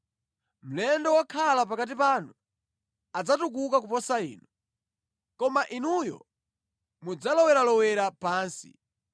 Mlendo wokhala pakati panu adzatukuka kuposa inu, koma inuyo mudzaloweralowera pansi.